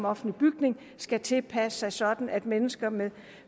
offentlige bygninger skal tilpasse dem sådan at mennesker med